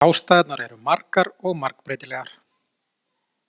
Ástæðurnar eru margar og margbreytilegar.